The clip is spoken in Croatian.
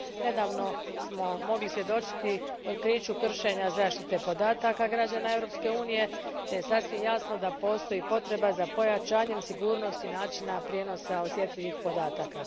Nedavno smo mogli svjedočiti otkriću kršenja zaštite podataka građana Europske unije te je sasvim jasno da postoji potreba za pojačanjem sigurnosti načina prijenosa osjetljivih podataka.